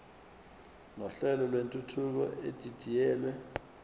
nohlelo lwentuthuko edidiyelwe